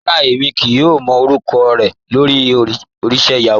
Rárá, èmi kò mọ́ orúkọ̀ rẹ lórí ojìṣẹ̀ Yahoo.